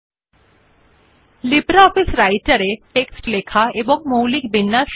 স্বাগতম লিব্রিঅফিস রাইটের উপর কথ্য টিউটোরিয়াল টেক্সট এবং মৌলিক বিন্যাস